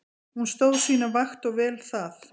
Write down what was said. Hún stóð sína vakt og vel það.